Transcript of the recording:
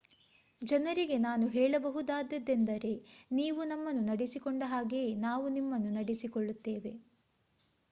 ಜನರಿಗೆ ನಾನು ಹೇಳಬಹುದಾದ್ದೆಂದರೆ ನೀವು ನಮ್ಮನ್ನು ನಡೆಸಿಕೊಂಡ ಹಾಗೆಯೇ ನಾವು ನಿಮ್ಮನ್ನು ನಡೆಸಿಕೊಳ್ಳುತ್ತೇವೆ